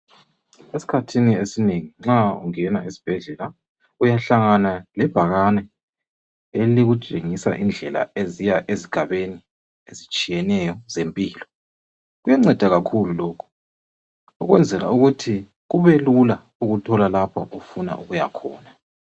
Eskhathini esinengi nxa ungena esibhedlela uyahlangana lebhakane elikutshengisa indlela eziya ezigabeni ezitshiyeneyo zempilo kuyanceda kakhulu lokho ukwenzela ukuthi kube lula ukuthola lapho ofuna ukuya khona